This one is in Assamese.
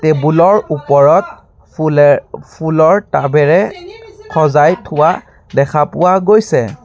টেবুল ৰ ওপৰত ফুলে ফুলৰ টাব এৰে সজাই থোৱা দেখা পোৱা গৈছে।